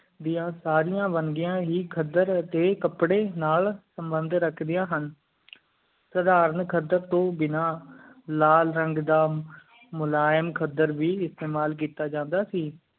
ਦੀਆਂ ਸਾਰੀ ਵੰਨਗੀਆਂ ਹੀ ਖੱਦਰ ਤੇ ਕਾਪੜੀ ਨਾਲ ਸੰਬੰਧ ਰੱਖਦਿਆਂ ਹਨ ਸਾਧਾਰਨ ਖੱਦਰ ਤੂੰ ਬਿਨਾ ਲਾਲ ਰੰਗ ਦਾ ਮੁਲਾਇਮ ਖੱਦਰ ਵੀ ਇਸਤਮਾਲ ਕੀਤਾ ਜਾਂਦਾ ਸੀ